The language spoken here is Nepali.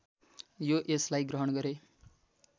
यो यसलाई ग्रहण गरे